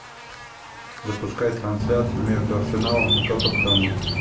запускай трансляцию между арсеналом и тоттенхэмом